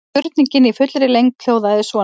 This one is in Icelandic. Spurningin í fullri lengd hljóðaði svona: